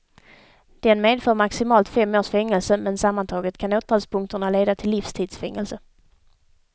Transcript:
Den medför maximalt fem års fängelse men sammantaget kan åtalspunkterna leda till livstids fängelse.